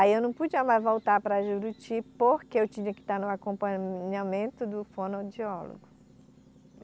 Aí eu não podia mais voltar para Juruti porque eu tinha que estar no acompanhamento do fonodiólogo.